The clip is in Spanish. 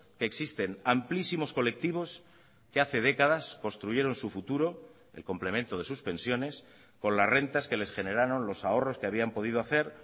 que existen amplísimos colectivos que hace décadas construyeron su futuro el complemento de sus pensiones con las rentas que les generaron los ahorros que habían podido hacer